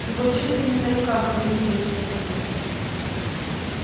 его чуть ли не на руках вынесли из такси